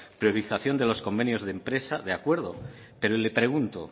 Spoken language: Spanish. priorización de los convenios de empresa de acuerdo pero le pregunto